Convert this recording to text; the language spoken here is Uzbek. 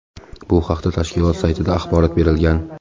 Bu haqda tashkilot saytida axborot berilgan .